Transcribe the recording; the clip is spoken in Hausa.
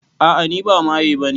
A'a ni ba maye bane